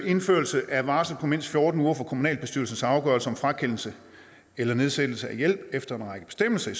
indførelse af varsel på mindst fjorten uger fra kommunalbestyrelsens afgørelse om frakendelse eller nedsættelse af hjælp efter en række bestemmelser i